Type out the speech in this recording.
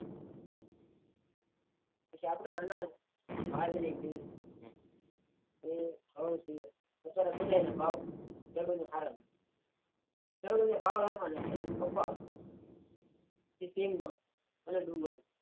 પછી આપડે અનાજ બાજરી છે ઘઉં છે અત્યારે બધા ના ભાવ હારા છે પછી તેલ માં કે ડુંગળી માં